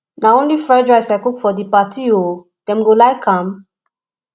na only fried rice i cook for the party oo dem go like am